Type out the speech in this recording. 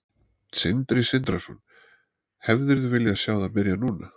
Sindri Sindrason: Hefðirðu viljað sjá það byrja núna?